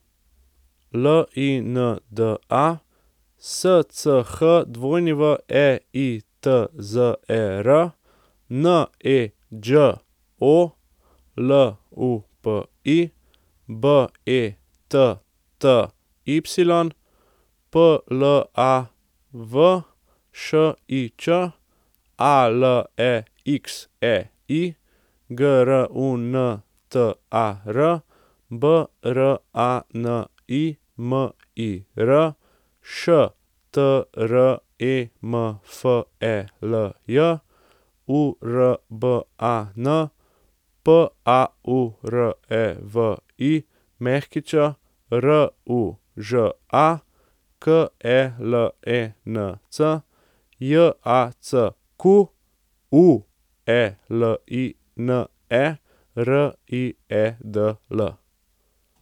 Linda Schweitzer, Neđo Lupi, Betty Plavšič, Alexei Gruntar, Branimir Štremfelj, Urban Paurević, Ruža Kelenc, Jacqueline Riedl.